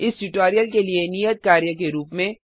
इस ट्यूटोरियल के लिए नियत कार्य के रूप में